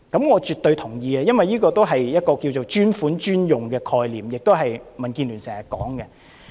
我絕對同意，因為這是"專款專用"的概念，亦是民建聯經常提及的。